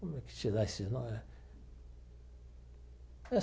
Como é que se dá esse nome?